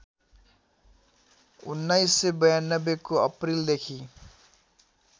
१९९२ को अप्रिल देखि